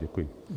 Děkuji.